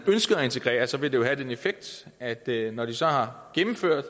ønsker at integrere sig vil det lige have den effekt at der når de så har gennemført